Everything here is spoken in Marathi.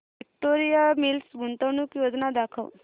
विक्टोरिया मिल्स गुंतवणूक योजना दाखव